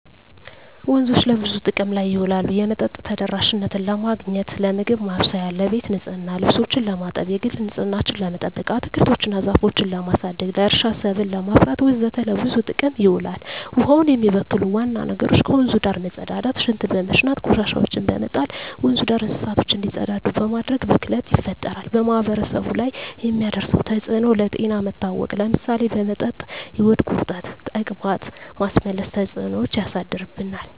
ወንዞች ለብዙ ጥቅም ላይ ይውላሉ የመጠጥ ተደራሽነትን ለማግኘት, ለምግብ ማብሰያ , ለቤት ንፅህና , ልብሶችን ለማጠብ, የግል ንፅህናችን ለመጠበቅ, አትክልቶች እና ዛፎችን ለማሳደግ, ለእርሻ ሰብል ለማፍራት ወዘተ ለብዙ ጥቅም ይውላል። ውሀውን የሚበክሉ ዋና ነገሮች ከወንዙ ዳር መፀዳዳት , ሽንት በመሽናት, ቆሻሻዎችን በመጣል, ወንዙ ዳር እንስሳቶች እንዲፀዳዱ በማድረግ ብክለት ይፈጠራል። በማህበረሰቡ ላይ የሚያደርሰው ተፅዕኖ ለጤና መታወክ ለምሳሌ በመጠጥ የሆድ ቁርጠት , ተቅማጥ, ማስመለስ ተፅዕኖች ያሳድርብናል።